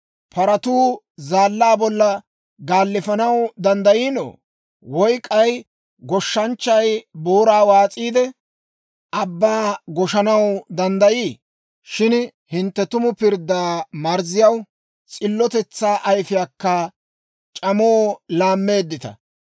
Paratuu zaallaa bollan gaalifanaw danddayiino? Woy k'ay goshshanchchay booraa waas'iide, abbaa goshshanaw danddayii? Shin hintte tumu pirddaa marzziyaw, s'illotetsaa ayfiyaakka c'amoo laammeeddita.